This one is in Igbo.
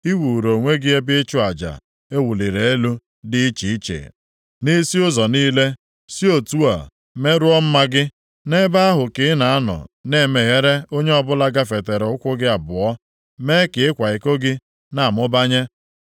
I wuuru onwe gị ebe ịchụ aja e wuliri elu dị iche iche nʼisi ụzọ niile, si otu a merụọ mma gị. Nʼebe ahụ ka ị na-anọ na-emeghere + 16:25 Ya bụ, eghebere onye ọbụla gafetara ụkwụ gị abụọ, + 16:25 Na-enyekwa onye ọbụla onwe gị mee ka ịkwa iko gị na-amụbanye.